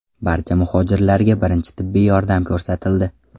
Barcha muhojirlarga birinchi tibbiy yordam ko‘rsatildi.